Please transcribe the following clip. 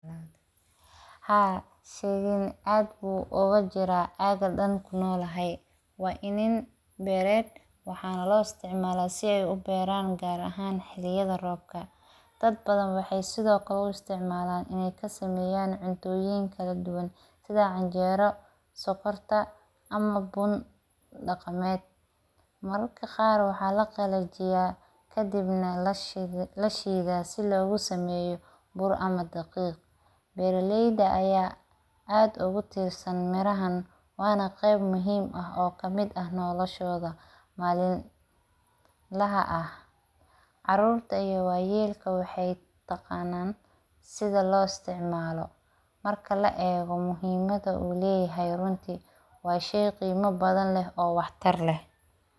Haa sheygan aad bu oga jira agan kunolahay, waa inan beered waxana lo isticmala si ee uberan gar ahan waqtiyaada robka, dad badan waxee sithokale u isticmalan in ee kasameyan cuntoyin kala duwan sitha canjero sokorta ama bun daqameed mararka qar waxaa laqalajiya kadibna lashidha si logu sameyo bur ama daqiq beera leyda aya aad ogu tirsan mirahan wana qeb muhiim ah kamiid ah noloshodha malin laha ah, carurta iyo wayelka waxee taqanan sitha lo isticmalo marka laego muhiimaada u leyahay waa shey qolimo badan oo wax tar leh.